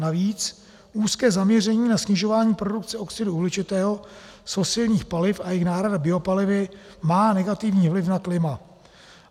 Navíc úzké zaměření na snižování produkce oxidu uhličitého z fosilních paliv a jejich náhrada biopalivy má negativní vliv na klima.